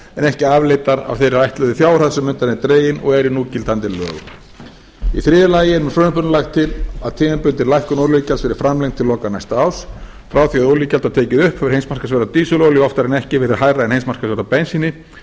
ekki afleiddar af þeirri ætluðu fjárhæð sem undan er dregin og eru í núgildandi lögum í þriðja lagi er með frumvarpinu lagt til að tímabundin lækkun olíugjalds verði framlengd til loka næsta árs frá því að olíugjald var tekið upp hefur heimsmarkaðsverð á dísilolíu oftar en ekki verið hærra en heimsmarkaðsverð á bensíni